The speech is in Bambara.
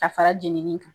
Ka fara jenini kan